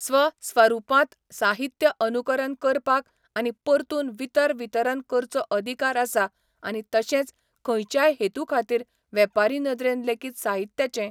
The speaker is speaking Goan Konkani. स्व स्वरुपांत साहित्य अनुकरन करपाक आनी परतून वितर वितरन करचो अदिकार आसा आनी तशेंच खंयच्याय हेतू खातीर वेपारी नदरेन लेगीत साहित्याचे